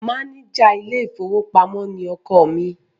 Máníjà ilé-ìfowópamọ́ ni ọkọ mi.